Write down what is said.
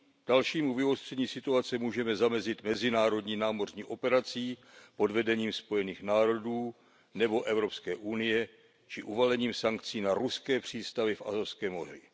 Dalšímu vyostření situace můžeme zamezit mezinárodní námořní operací pod vedením Spojených národů nebo EU či uvalením sankcí na ruské přístavy v Azovském moři.